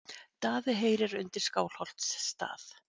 Daði heyrir undir Skálholtsstað.